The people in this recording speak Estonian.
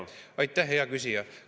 Aitäh, hea küsija!